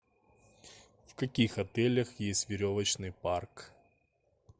в каких отелях есть веревочный парк